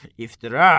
İftira!